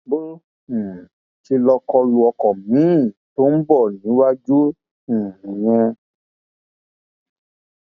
bó um ṣe lọọ kọ lu ọkọ miín tó bọ níwájú um nìyẹn